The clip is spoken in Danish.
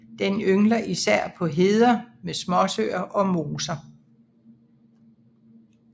Den yngler især på heder med småsøer og moser